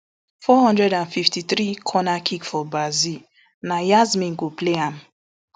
four hundred and fifty-three corner kick for brazil na yasmin go play am